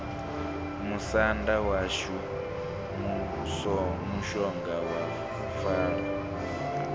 musanda washu mushonga wa falo